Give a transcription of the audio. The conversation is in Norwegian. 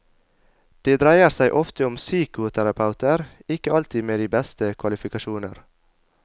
Det dreier seg ofte om psykoterapeuter, ikke alltid med de beste kvalifikasjoner.